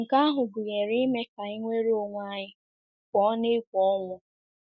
Nke ahụ gụnyere ime ka anyị nwere onwe anyị pụọ n’egwu ọnwụ.